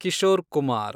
Kishore Kumar